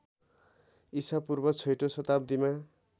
ईसापूर्व छैटौँ शताब्दीमा